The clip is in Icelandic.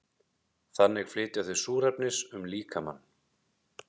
þannig flytja þau súrefnis um líkamann